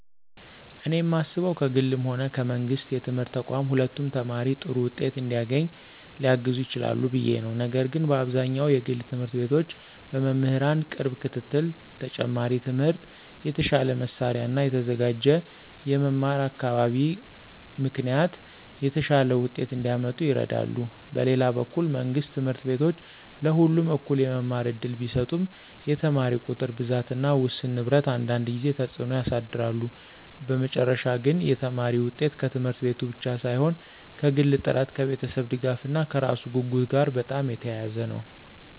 እኔ የማስበው ከግልም ሆነ ከመንግሥት የትምህርት ተቋማት ሁለቱም ተማሪ ጥሩ ውጤት እንዲያገኝ ሊያግዙ ይችላሉ ብዬ ነው፤ ነገር ግን በአብዛኛው የግል ት/ቤቶች በመምህራን ቅርብ ክትትል፣ ተጨማሪ ትምህርት፣ የተሻለ መሳሪያ እና የተዘጋጀ የመማር አካባቢ ምክንያት የተሻለ ውጤት እንዲያመጡ ይረዳሉ። በሌላ በኩል መንግሥት ት/ቤቶች ለሁሉም እኩል የመማር እድል ቢሰጡም የተማሪ ቁጥር ብዛት እና ውስን ንብረት አንዳንድ ጊዜ ተጽዕኖ ያሳድራሉ። በመጨረሻ ግን የተማሪ ውጤት ከት/ቤቱ ብቻ ሳይሆን ከግል ጥረት፣ ከቤተሰብ ድጋፍ እና ከራሱ ጉጉት ጋር በጣም የተያያዘ ነው።